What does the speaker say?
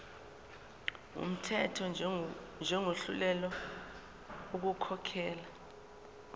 wumthetho njengohluleka ukukhokhela